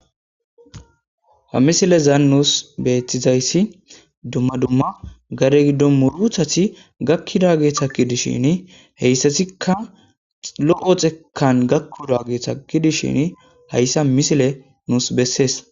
ha misile zaan nuus beetizayssi dumma dumma gare giddo muruthasi gakkida geeththaki dishin heyssasikka lo7o xekan gakkuda geeththaki dishin hayssa misile nuus bessees